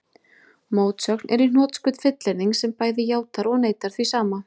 Mótsögn er í hnotskurn fullyrðing sem bæði játar og neitar því sama.